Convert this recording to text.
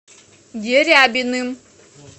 дерябиным